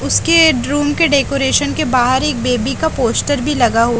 उसके रूम के डेकोरेशन के बहार ही एक बेबी का पोस्टर भी लगा --